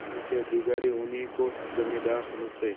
जिले के अधिकारी उन्हीं को जमींदार समझते